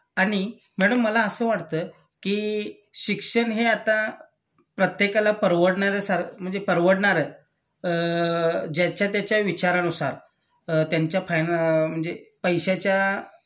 आणि मॅडम मला असं वाटत की शिक्षण हे आता प्रत्येकाला परवडणाऱ्यासारम्हणजे परवडणार अ ज्याच्या त्याच्या विचारानुसार अ त्यांच्या फाइन म्हणजे पैश्याच्या